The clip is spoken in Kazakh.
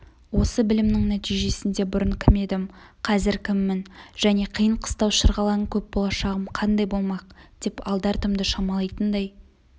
осы білімнің нәтижесінде бұрын кім едім қазір кіммін және қиын-қыстау шырғалаңы көп болашағым қандай болмақ деп алды-артымды шамалайтындай